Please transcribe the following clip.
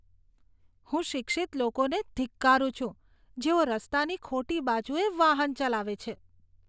હું શિક્ષિત લોકોને ધિક્કારું છું, જેઓ રસ્તાની ખોટી બાજુએ વાહન ચલાવે છે.